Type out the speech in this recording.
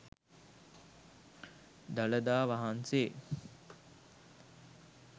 dalada wahanse